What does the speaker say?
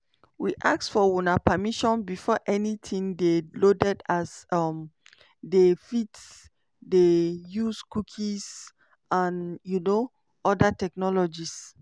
we ask for una permission before anytin dey loaded as um dem fit dey use cookies and um oda technologies.